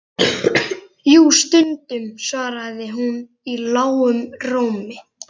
Jú, stundum, svaraði hún í lágum rómi.